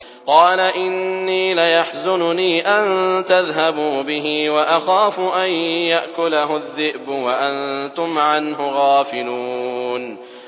قَالَ إِنِّي لَيَحْزُنُنِي أَن تَذْهَبُوا بِهِ وَأَخَافُ أَن يَأْكُلَهُ الذِّئْبُ وَأَنتُمْ عَنْهُ غَافِلُونَ